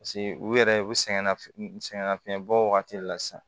Paseke u yɛrɛ u sɛgɛn nafi sɛgɛnnafiɲɛbɔ wagati de la sisan